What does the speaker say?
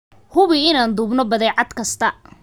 Hubi inaan duubno badeecad kasta.